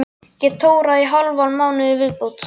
Get tórað í hálfan mánuð í viðbót.